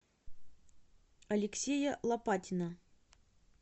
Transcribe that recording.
алексея лопатина